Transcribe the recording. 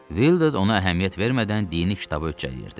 Vildur ona əhəmiyyət vermədən dini kitabı öcələyirdi.